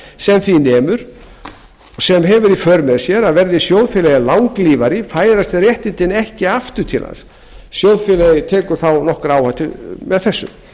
sem því nemur sem hefur í för með sér að verði sjóðfélagi langlífari færast réttindin ekki aftur til hans sjóðfélagi tekur því nokkra áhættu með þessu